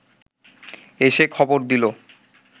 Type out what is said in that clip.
এসে খবর দিল